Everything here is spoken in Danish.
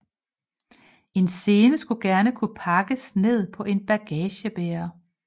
En scene skulle gerne kunne pakkes ned på en bagagebærer